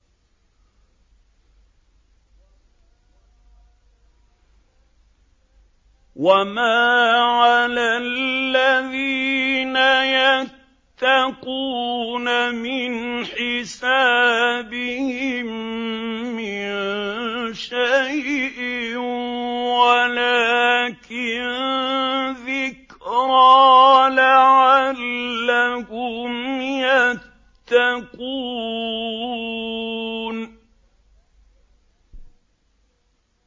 وَمَا عَلَى الَّذِينَ يَتَّقُونَ مِنْ حِسَابِهِم مِّن شَيْءٍ وَلَٰكِن ذِكْرَىٰ لَعَلَّهُمْ يَتَّقُونَ